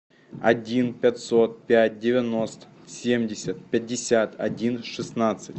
один пятьсот пять девяносто семьдесят пятьдесят один шестнадцать